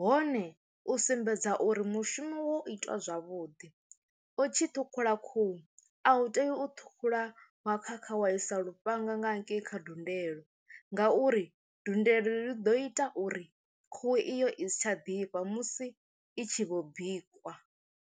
hone u sumbedza uri mushumo wo ita zwavhuḓi u tshi ṱhukhula khuhu a u tei u ṱhukhula wa khakha wa i sa lufhanga nga hangei kha dundela ngauri ndundelo ḽi ḓo ita uri khuhu iyo i si tsha ḓifha musi i tshi vho bikwa.